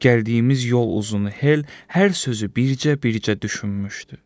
Gəldiyimiz yol uzunu Hel hər sözü bircə-bircə düşünmüşdü.